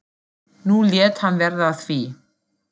Nú lét hann verða af því.